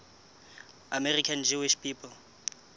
american jewish people